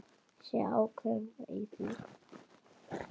Sé ákveðin í því.